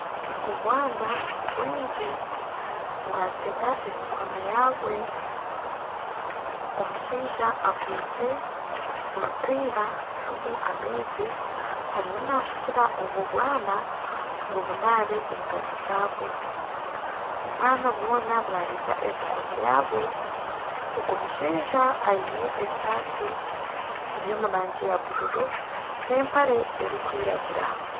Obwana bwingi bwatega emikono yabwe, omushaija akwitse orupiira ririmu amaizi ariyo nashukira obwo bwana ngu bunaabe engaro zabwo. Obwana bwona bwareeta emikono yabwo. Ogu mushaija aine esaati eri omu rangi ya bururu n'empare erikwiragura.